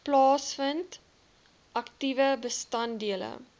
plaasvind aktiewe bestanddele